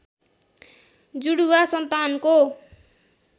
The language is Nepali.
जुडुवा सन्तानको